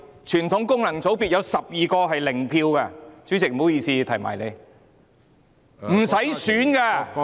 傳統功能界別有12名議員是零票當選的。